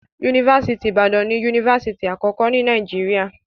Yunifásitì Ìbàdàn ni Yunifásitì àkọ́kọ́ ni Nàìjíríà.